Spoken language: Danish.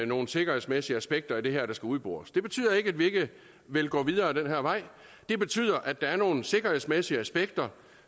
nogle sikkerhedsmæssige aspekter i det her der skal udbores det betyder ikke at vi ikke vil gå videre ad den her vej det betyder at der er nogle sikkerhedsmæssige aspekter